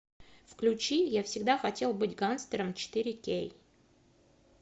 включи я всегда хотел быть гангстером четыре кей